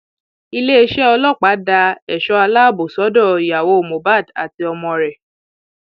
iléeṣẹ ọlọpàá da ẹṣọ aláàbọ sọdọ ìyàwó mohbad àti ọmọ rẹ